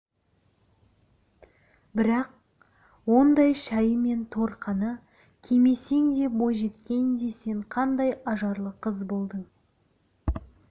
бірақ ондай шайы мен торқаны кимесең де бойжеткенде сен қандай ажарлы қыз болдың